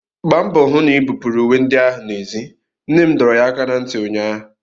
Gbaa mbọ hụ na-ibupuru uwe ndị ahụ n'èzí! nne m dọrọ ya aka ná ntị ụnyaahụ!